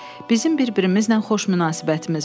Bizim bir-birimizlə xoş münasibətimiz var.